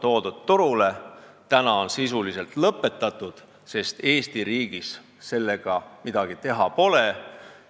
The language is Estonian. Tänaseks on tootmine sisuliselt lõpetatud, sest Eesti riigis sellega midagi teha pole.